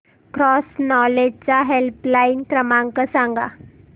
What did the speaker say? cross knowledge चा helpline क्रमांक सांगा